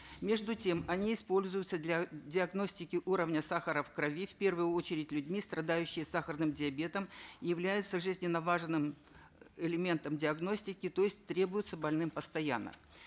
между тем они используются для диагностики уровня сахара в крови в первую очередь людьми страдающие сахарным диабетом являются жизненно важным элементом диагностики то есть требуются больным постоянно